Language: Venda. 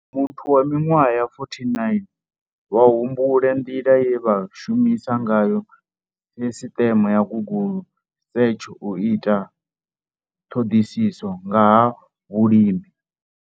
Muthu wa miṅwaha ya 49 vha humbula nḓila ye vha shumisa ngayo sisiṱeme ya Google search u ita ṱhoḓisiso nga ha vhulimi.